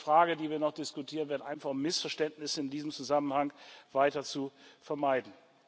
Das ist eine Frage, die wir noch diskutieren werden, einfach um Missverständnisse in diesem Zusammenhang weiter zu vermeiden.